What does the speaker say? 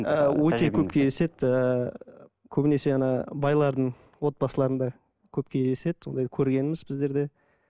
ыыы өте көп кездеседі ііі көбінесе байлардың отбасыларында көп кездеседі ондай көргенбіз біздер де